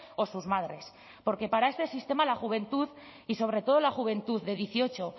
o sus madres porque para este sistema la juventud y sobre todo la juventud de dieciocho